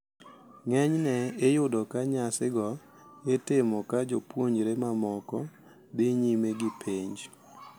Ng`enyne iyudo ka nyasigo itimo ka jopuonjre mamokogo dhi nyime gi penj.